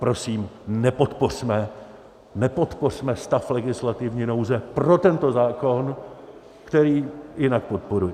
Prosím, nepodpořme stav legislativní nouze pro tento zákon, který jinak podporuji.